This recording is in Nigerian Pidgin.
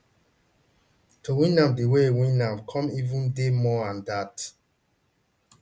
to win am di way e win am come even dey more an dat